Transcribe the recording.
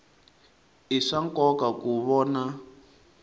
i swa nkoka ku vona